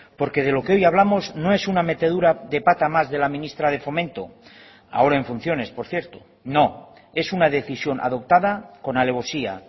porque de lo que hoy hablamos no es una metedura de pata más de la ministra de fomento ahora en funciones por cierto no es una decisión adoptada con alevosía